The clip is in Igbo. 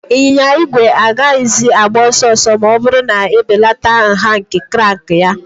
Ịnyịnya igwe agaghịzi agba ọsọ ọsọ ma ọ bụrụ na ebelata nha nke crank ya.